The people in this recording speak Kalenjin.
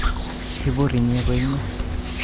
Ibur inye koinye